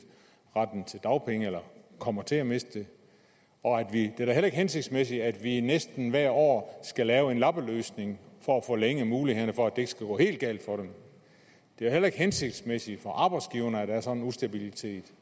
retten til dagpenge eller kommer til at miste den og det er da heller ikke hensigtsmæssigt at vi næsten hvert år skal lave en lappeløsning for at forlænge mulighederne for at det ikke skal gå helt galt for dem det er heller ikke hensigtsmæssigt for arbejdsgiverne at der er sådan en ustabilitet